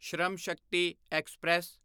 ਸ਼ਰਮ ਸ਼ਕਤੀ ਐਕਸਪ੍ਰੈਸ